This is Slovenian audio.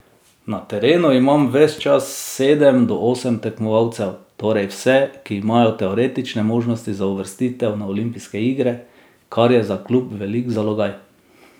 Na terenu imam ves čas sedem do osem tekmovalcev, torej vse, ki imajo teoretične možnosti za uvrstitev na olimpijske igre, kar je za klub velik zalogaj.